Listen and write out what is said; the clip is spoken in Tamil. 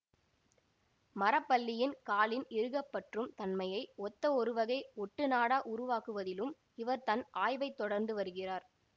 மரப்பல்லியின் காலின் இறுகப்பற்றும் தன்மையை ஒத்த ஒருவகை ஒட்டுநாடா உருவாக்குவதிலும் இவர் தன் ஆய்வைத் தொடர்ந்து வருகிறார்